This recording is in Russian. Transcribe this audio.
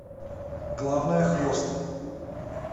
главное хвост